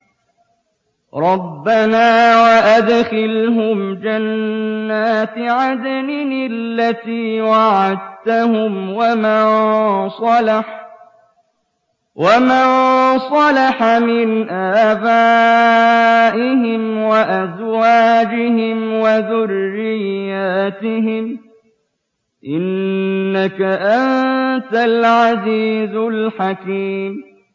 رَبَّنَا وَأَدْخِلْهُمْ جَنَّاتِ عَدْنٍ الَّتِي وَعَدتَّهُمْ وَمَن صَلَحَ مِنْ آبَائِهِمْ وَأَزْوَاجِهِمْ وَذُرِّيَّاتِهِمْ ۚ إِنَّكَ أَنتَ الْعَزِيزُ الْحَكِيمُ